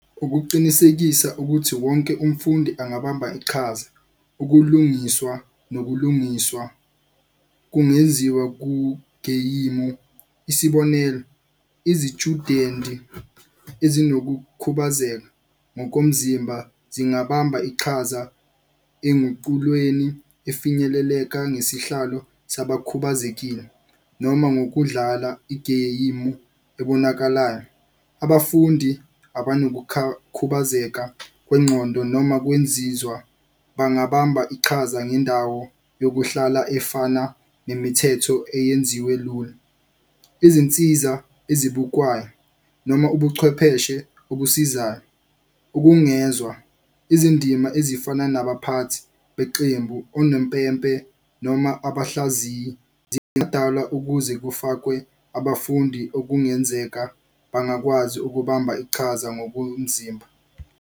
Ukuqinisekisa ukuthi wonke umfundi angabamba iqhaza, ukulungiswa nokulungiswa kungenziwa kugeyimu. Isibonelo, izitshudenti ezinokukhubazeka ngokomzimba zingabamba iqhaza enguqulweni efinyeleleka ngesihlalo sabakhubazekile, noma ngokudlala igeyimu ebonakalayo. Abafundi kwengqondo noma kwenzizwa bangabamba iqhaza ngendawo yokuhlala efana nemithetho eyenziwe lula. Izinsiza ezibukwayo noma ubuchwepheshe obusizayo, ukungezwa izindima ezifana nabaphathi beqembu onompempe noma abahlaziyi zingadala ukuze kufakwe abafundi okungenzeka bangakwazi ukubamba iqhaza ngokomzimba.